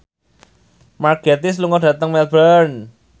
Mark Gatiss lunga dhateng Melbourne